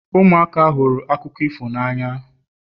ụmụaka hụrụ akụkọ ifo n'anya